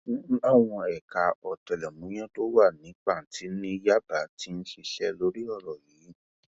wọn láwọn ẹka ọtẹlẹmúyẹ tó wà ní pàǹtí ni yábà ti ń ṣiṣẹ lórí ọrọ yìí